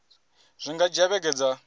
zwi nga dzhia vhege dza